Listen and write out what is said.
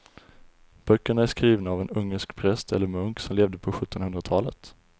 Böckerna är skrivna av en ungersk präst eller munk som levde på sjuttonhundratalet.